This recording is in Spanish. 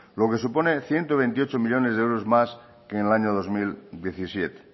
lo que supone ciento veintiocho millónes de euros más que en el año dos mil diecisiete